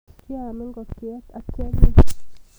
Kyaam ngokchet akianyiny.